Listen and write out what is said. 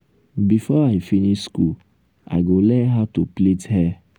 before i finish skool i go learn how to plait hear.